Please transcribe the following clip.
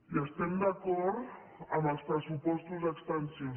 i estem d’acord amb els pressupostos extensius